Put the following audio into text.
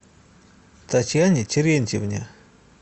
татьяне терентьевне